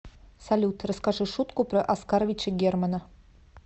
салют расскажи шутку про оскаровича германа